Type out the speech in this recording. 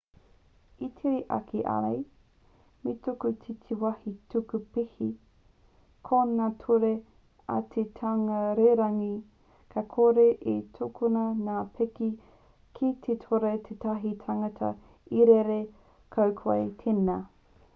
e tere ake ai me tuku ki te wāhi tuku pēke ko ngā ture a te taunga rererangi ka kore e tukuna ngā pēke ki te kore tētahi tangata e rere ko koe tēnā